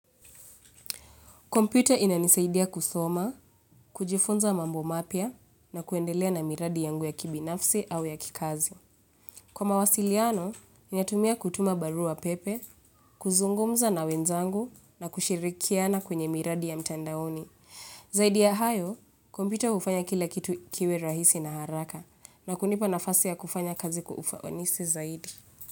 Kompyuta inanisaidia kusoma, kujifunza mambo mapia na kuendelea na miradi yangu ya kibinafsi au ya kikazi. Kwa mawasiliano, ninatumia kutuma barua pepe, kuzungumza na wenzangu na kushirikiana kwenye miradi ya mtandaoni. Zaidi ya hayo, kompyuta ufanya kila kitu kiwe rahisi na haraka na kunipa nafasi ya kufanya kazi kwa ufawanisi zaidi.